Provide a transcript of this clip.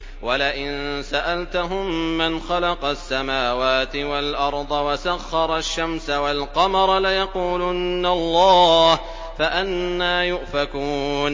وَلَئِن سَأَلْتَهُم مَّنْ خَلَقَ السَّمَاوَاتِ وَالْأَرْضَ وَسَخَّرَ الشَّمْسَ وَالْقَمَرَ لَيَقُولُنَّ اللَّهُ ۖ فَأَنَّىٰ يُؤْفَكُونَ